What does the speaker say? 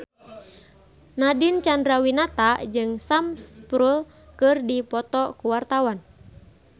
Nadine Chandrawinata jeung Sam Spruell keur dipoto ku wartawan